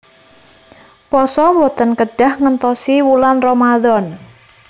Pasa boten kedah ngentosi wulan ramadhan